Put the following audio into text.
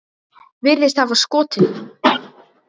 Virðist hafa skotið sig.